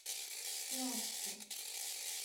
плавске